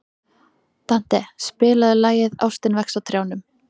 Dante, spilaðu lagið „Ástin vex á trjánum“.